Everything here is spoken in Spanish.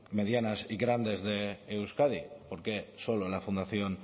medianas y grandes de euskadi por qué solo la fundación